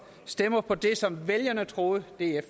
stemmer for det som vælgerne troede df